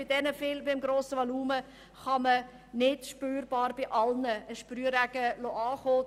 Bei einem so grossen Steuervolumen kann man keinen Sprühregen fallen lassen, der bei allen ankommt.